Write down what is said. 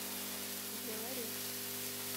белорецк